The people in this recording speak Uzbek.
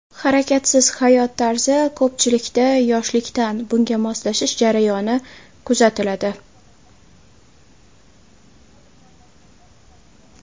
Harakatsiz hayot tarzi Ko‘pchilikda yoshligidan bunga moslashish jarayoni kuzatiladi.